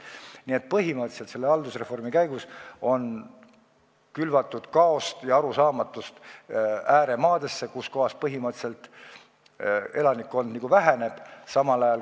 Nii et põhimõtteliselt on haldusreformi käigus külvatud kaost ja arusaamatust ääremaades, kus elanikkond väheneb.